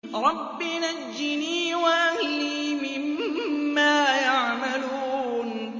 رَبِّ نَجِّنِي وَأَهْلِي مِمَّا يَعْمَلُونَ